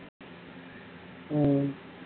ஹம்